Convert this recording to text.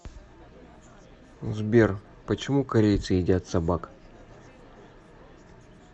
сбер почему корейцы едят собак